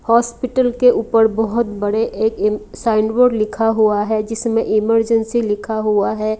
Hospital के ऊपर बहोत बड़े एक इन साइन वर्ड लिखा हुआ है जिसमें इमर्जेंसी लिखा हुआ है।